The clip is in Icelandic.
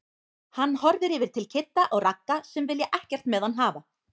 Hann horfir yfir til Kidda og Ragga sem vilja ekkert með hann hafa.